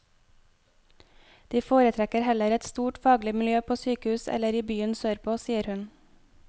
De foretrekker heller et stort faglig miljø på sykehus eller i byene sørpå, sier hun.